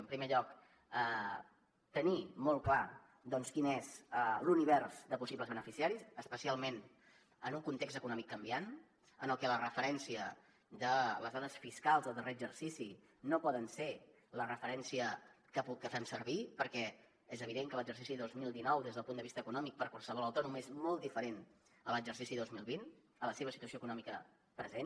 en primer lloc tenir molt clar quin és l’univers de possibles beneficiaris especialment en un context econòmic canviant en el que la referència de les dades fiscals del darrer exercici no poden ser la referència que fem servir perquè és evident que l’exercici dos mil dinou des del punt de vista econòmic per qualsevol autònom és molt diferent a l’exercici dos mil vint a la seva situació econòmica present